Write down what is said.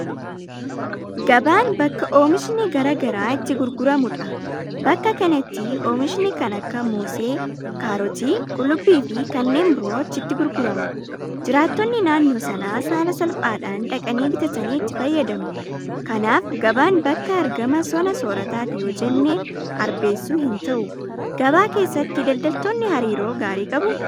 Gabaan bakka oomishni garaa garaa itti gurguramudha. Bakka kanatti oomishni kan akka Moosee, Kaarotii, Qullubbiifi kanneen biroo achitti gurgurama. Jiraattonni naannoo sanaas haala salphaadhaan dhaqanii bitatanii itti fayyadamu. Kanaaf gabaan bakka argama sona soorataati yoojenne arbeessuu hinta'u. Gabaa keessatti daldaltoonni hariiroo gaarii qabuu?